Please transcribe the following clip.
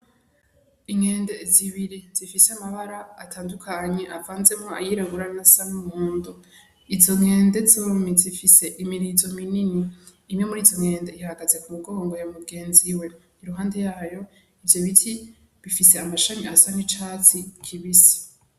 Inkende zibiri zifise amabara atandukanye avanzemwo ayirabura n'ayasa n' umuhondo izo nkende zompi zifise imirizo minini imwe muri izo nkende ihagaze ku mugongo wa mugenzi we iruhande yayo ivyo biti bifise amashami asa n' icatsi kibisi.